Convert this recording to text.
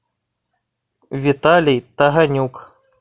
виталий таганюк